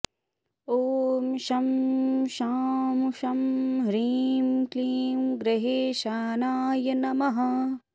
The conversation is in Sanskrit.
ॐ शं शां षं ह्रीं क्लीं ग्रहेशानाय नमः